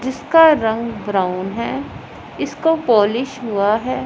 जिसका रंग ब्राउन है इसको पॉलिश हुआ है।